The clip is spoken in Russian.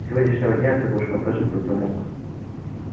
с сегодняшнего дня ты будешь посажен под замок